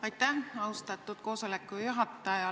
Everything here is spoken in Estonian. Aitäh, austatud koosoleku juhataja!